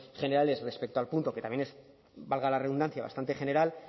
generales respecto al punto que también es valga la redundancia bastante general